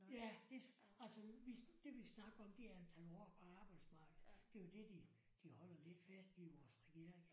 Ja hvis altså hvis det vi snakker om det er antal år på arbejdsmarkedet det er jo det de de holder lidt fast i vores regering